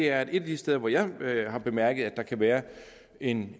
er at et af de steder hvor jeg har bemærket at der kan være en